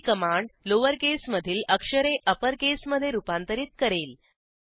ही command lower केसमधील अक्षरे upper केसमधे रूपांतरित करेल